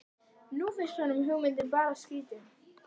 Nú finnst honum hugmyndin bara skrýtin.